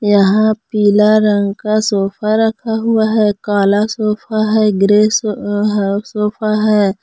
यहां पीला रंग का सोफा रखा हुआ है काला सोफा है ग्रे सोफा है।